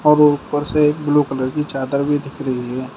और ऊपर से ब्लू कलर की चादर भी दिख रही है।